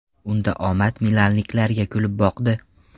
Unda omad milanliklarga kulib boqdi.